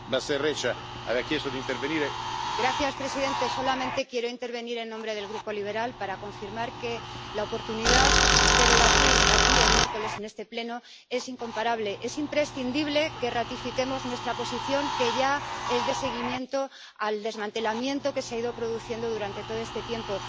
Señor presidente, solamente quiero intervenir en nombre del Grupo ALDE para confirmar que la oportunidad de debatir aquí, el miércoles, en este Pleno, es incomparable es imprescindible que ratifiquemos nuestra posición, que ya es de seguimiento al desmantelamiento que se ha ido produciendo durante todo este tiempo.